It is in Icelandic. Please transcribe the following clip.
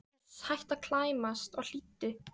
Uss, hættu að klæmast og hlýddu!